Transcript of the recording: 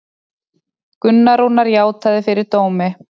Gunnar Rúnar játaði fyrir dómi